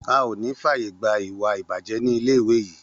A ò ní fàyè gba ìwà ìbàjẹ́ nílé ìwé yìí!